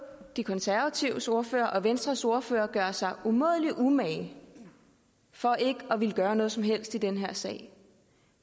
de konservatives ordfører og venstres ordfører gøre sig umådelig umage for ikke at ville gøre noget som helst i den her sag